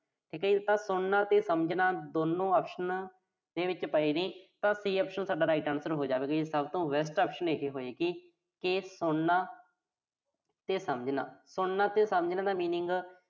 ਠੀਕਾ ਜੀ ਤਾਂ ਸੁਣਨਾ ਤੇ ਸਮਝਣਾ ਦੋਨੋਂ option ਆ ਜਿਹੜੀ। ਤਾਂ option C ਸਾਡਾ right answer ਹੋ ਜਾਵੇਗਾ। ਸਭ ਤੋਂ best option ਇਹੇ ਹੋਏਗੀ। ਤੇ ਸੁਣਨਾ ਤੇ ਸਮਝਣਾ। ਸੁਣਨਾ ਤੇ ਸਮਝਣ ਦਾ meaning